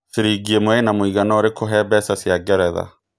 ciringi ĩmwe Ina mũigana ũrĩkũ he mbeca cĩa ngeretha